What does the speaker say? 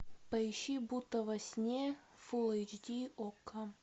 поищи будто во сне фулл эйч ди окко